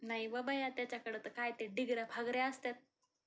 नाही ग बाई, त्याच्याकडे तर काहीतरी डिगऱ्या फागऱ्या असतात.